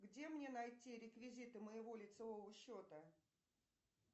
где мне найти реквизиты моего лицевого счета